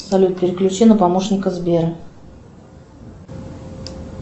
салют переключи на помощника сбера